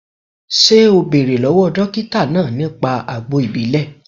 Ṣé o bẹ̀rẹ̀ lọ́wọ́ dókítà náà nípa àgbo ìbílè